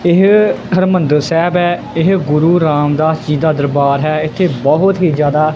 ਏਹ ਹਰਿਮੰਦਰ ਸਾਹਿਬ ਹੈ ਇਹ ਗੁਰੂ ਰਾਮਦਾਸ ਜੀ ਦਾ ਦਰਬਾਰ ਹੈ ਇੱਥੇ ਬਹੁਤ ਹੀ ਜਿਆਦਾ--